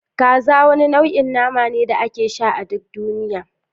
Kaza wani nau'in nama ne da ake sha a duk duniya